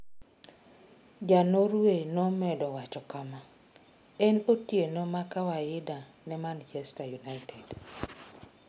Ja Norway nomedo wacho kama: "En otieno ma kawaida ne Manchester United."